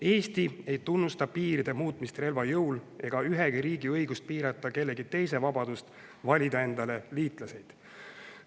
Eesti ei tunnusta piiride muutmist relva jõul ega ühegi riigi õigust piirata kellegi teise vabadust valida endale liitlaseid.